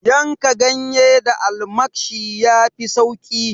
Yanka ganye da almakshi yafi sauki